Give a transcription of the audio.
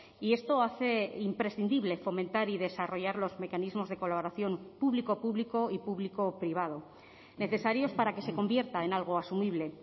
y esto hace imprescindible fomentar y desarrollar los mecanismos de colaboración público público y público privado necesarios para que se convierta en algo asumible